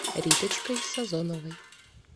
риточкой сазоновой